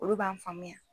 Olu b'an faamuya